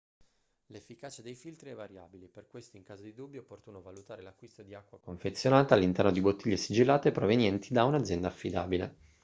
l'efficacia dei filtri è variabile per questo in caso di dubbi è opportuno valutare l'acquisto di acqua confezionata all'interno di bottiglie sigillate provenienti da un'azienda affidabile